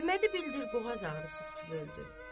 Əhmədi bildir qoğaz ağrısı tutub öldü.